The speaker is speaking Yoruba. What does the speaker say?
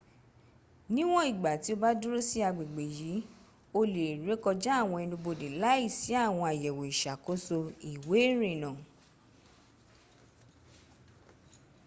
nìwọ̀n ìgbà tí o bá dúró sí agbègbè yí o lè rékọjá àwọn ẹnubodè láìsí àwọn àyẹ̀wò ìsakóso ìwé̀ ìrìnnà